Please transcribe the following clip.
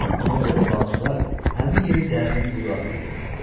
Ona görə də balıqçılar həmin yeri dərin quyu adlandırırdılar.